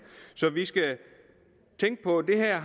så vi skal tænke på at det her